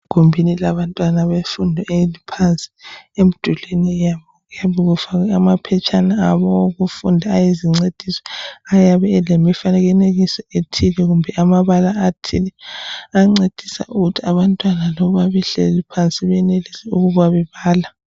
egumbini labantwana befuno eliphansi emidulweni yabo kuyabe kufawe amaphetshana awokufundo ayizincediso ayabe elemifanekiso ethile kumbe amabala athile ayancedisa ukuthi abantwana noba behleli phansi benelise ukuba bebala